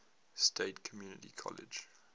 state community college